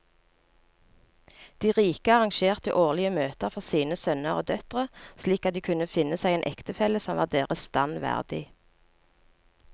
De rike arrangerte årlige møter for sine sønner og døtre slik at de kunne finne seg en ektefelle som var deres stand verdig.